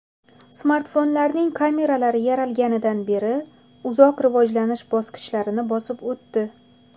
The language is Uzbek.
Smartfonlarning kameralari yaralganidan beri uzoq rivojlanish bosqichlarini bosib o‘tdi.